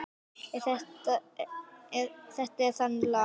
Þetta er þannig lag.